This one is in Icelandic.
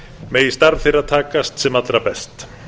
megi starf þeirra takast sem allra best